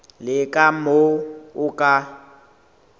le ka moo o ka